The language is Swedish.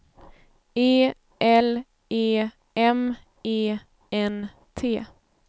E L E M E N T